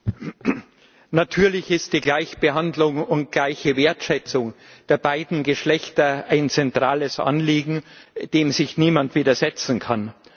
Herr Präsident! Natürlich ist die Gleichbehandlung und gleiche Wertschätzung der beiden Geschlechter ein zentrales Anliegen, dem sich niemand widersetzen kann.